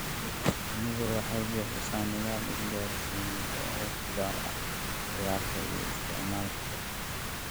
Shinnidu waxay bixisaa nidaam isgaarsiineed oo u gaar ah ciyaarta iyo isticmaalka urta.